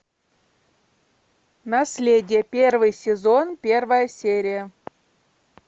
наследие первый сезон первая серия